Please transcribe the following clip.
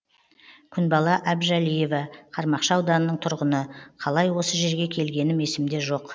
күнбала әбжәлиева қармақшы ауданының тұрғыны қалай осы жерге келгенім есімде жоқ